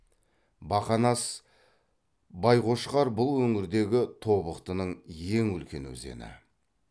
бақанас байқошқар бұл өңірдегі тобықтының ең үлкен өзені